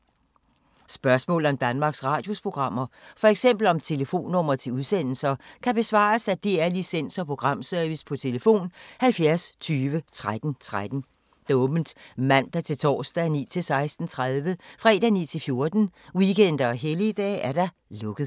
Spørgsmål om Danmarks Radios programmer, f.eks. om telefonnumre til udsendelser, kan besvares af DR Licens- og Programservice: tlf. 70 20 13 13, åbent mandag-torsdag 9.00-16.30, fredag 9.00-14.00, weekender og helligdage: lukket.